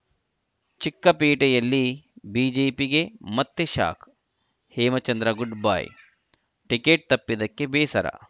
ಚಿಕ್ಕಪೇಟೆಯಲ್ಲಿ ಬಿಜೆಪಿಗೆ ಮತ್ತೆ shock Hemachandra goodbye ticket ತಪ್ಪಿದ್ದಕ್ಕೆ ಬೇಸರ